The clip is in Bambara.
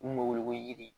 Mun bɛ wele ko yiri